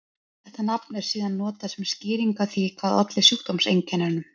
Þetta nafn er síðan notað sem skýring á því hvað olli sjúkdómseinkennunum.